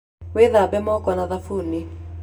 Wĩthambe moko na thabuni.